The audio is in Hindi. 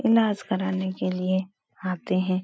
इलाज कराने के लिए आते हैं।